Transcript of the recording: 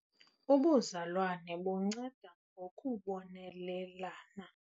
Ubuzalwane bunceda ngokubonelelana.